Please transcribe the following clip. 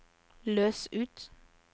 løs ut